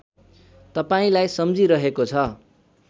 तपाईँलाई सम्झिरहेको छ